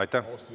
Aitäh!